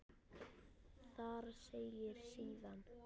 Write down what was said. Þar segir síðan